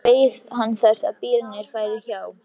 Þannig beið hann þess að bílarnir færu hjá.